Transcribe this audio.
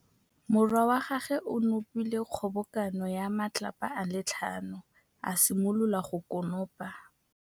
Morwa wa gagwe o nopile kgobokanô ya matlapa a le tlhano, a simolola go konopa.